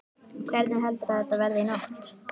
Hvernig heldurðu að þetta verði í nótt?